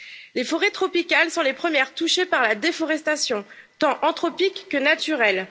Les forêts tropicales sont les premières touchées par la déforestation, tant anthropique que naturelle.